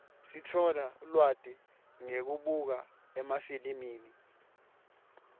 sitfola lwati ngekubuka emafilimi